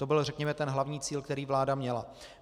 To byl, řekněme, ten hlavní cíl, který vláda měla.